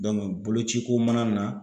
boloci ko mana na.